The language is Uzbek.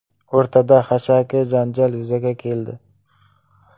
O‘rtada xashaki janjal yuzaga keldi.